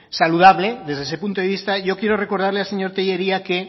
saludable desde ese punto de vista yo quiero recordarle al señor tellería que